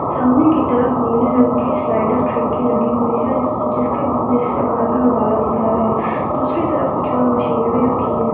सामने की तरफ निळे कलर स्लाइडर खिड़की लगी हुई है जिसके नीचे से दिख रहा है दूसरी तरफ कुछ और मशीने भी रखी हुई --